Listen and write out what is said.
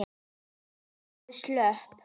Þau voru slöpp.